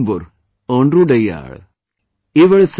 उयिर् मोइम्बुर ओंद्दुडैयाळ uyir moim bura onDruDaiyaaL